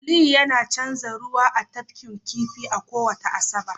aliyu yana canza ruwa a tafkin kifi a kowace Asabar